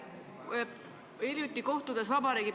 Härra Helme!